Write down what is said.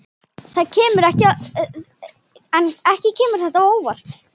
Ekki kemur þetta á óvart.